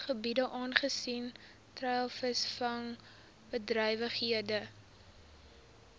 gebiede aangesien treilvisvangbedrywighede